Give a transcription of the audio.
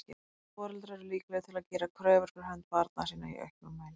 Foreldrar eru líklegir til að gera kröfur fyrir hönd barna sinna í auknum mæli.